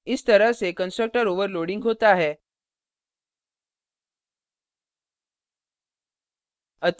इस तरह से constructor overloading होता है